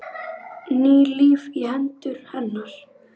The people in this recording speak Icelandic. Ný lífi í hendur hennar.